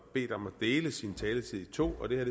bedt om at dele sin taletid i to og det her